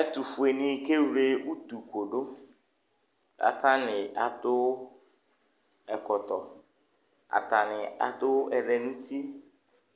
Ɛtʋfuenɩ kewle utukʋ dʋ kʋ atanɩ adʋ ɛkɔtɔ Atanɩ adʋ ɛlɛ nʋ uti